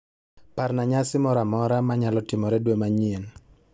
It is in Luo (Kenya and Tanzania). Parna nyasi moro amora ma nyalo timore dwe manyien.